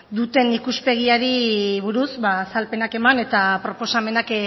duten ikuspegiari buruz azalpenak eman eta proposamenak